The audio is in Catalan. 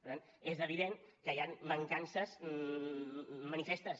per tant és evident que hi han mancances manifestes